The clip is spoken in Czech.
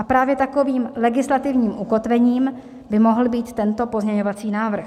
A právě takovým legislativní ukotvením by mohl být tento pozměňovací návrh.